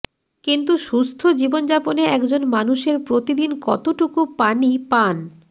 কিন্তু সুস্থ জীবনযাপনে একজন মানুষের প্রতিদিন কতটুকু পানি পান